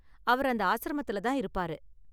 அவர் அந்த ஆஸ்ரமத்துல தான் இருப்பாரு.